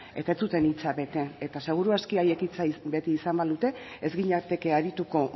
eta ez zuten hitza bete eta seguru aski haiek hitza bete izan balute ez ginateke arituko